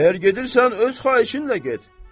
Əgər gedirsən öz xahişinlə get.